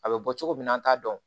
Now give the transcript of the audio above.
A bɛ bɔ cogo min na an t'a dɔn